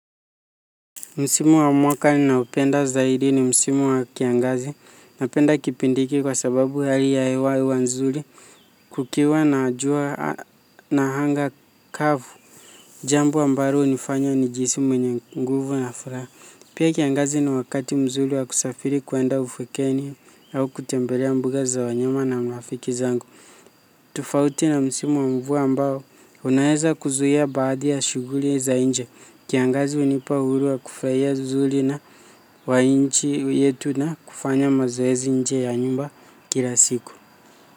Msimu wa mwaka ninaoopenda zaidi ni msimu wa kiangazi napenda kipindi hiki kwa sababu hali ya hewa huwa nzuri kukiwa na jua na anga kavu. Jambo ambalo hunifanya nijihisi mwenye nguvu na furaha. Pia kiangazi ni wakati mzuri wa kusafiri kwenda ufwekeni au kutembelea mbuga za wanyama na marafiki zangu tofauti na msimu wa mvua ambao unaeza kuzuia baadhi ya shughuli ya za nje kiangazi hunipa uhuru wa kufurahia uzuri na wa nchi yetu na kufanya mazoezi nje ya nyumba kila siku.